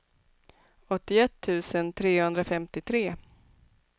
åttioett tusen trehundrafemtiotre